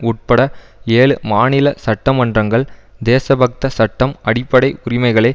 உட்பட ஏழு மாநில சட்ட மன்றங்கள் தேசபக்த சட்டம் அடிப்படை உரிமைகளை